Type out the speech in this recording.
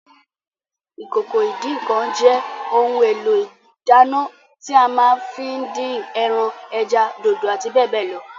Ìkòkò ìdín-ǹǹkan jẹ́ ohun èlò ìdáná tí a ma ń fí dín ẹran, ẹja, dòdò àti bẹ́ẹ̀bẹ́ẹ̀ lọ